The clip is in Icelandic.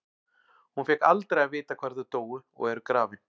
Hún fékk aldrei að vita hvar þau dóu og eru grafin.